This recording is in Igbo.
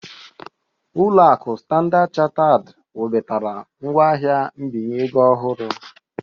Ulo aku Standard Chartered webatara ngwaahịa mbinye ego ọhụrụ